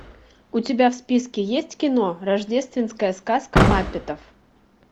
у тебя в списке есть кино рождественская сказка маппетов